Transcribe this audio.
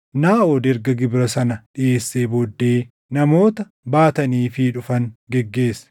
Naaʼod erga gibira sana dhiʼeessee booddee namoota baataniifii dhufan geggeesse.